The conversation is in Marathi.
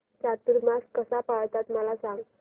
चातुर्मास कसा पाळतात मला सांग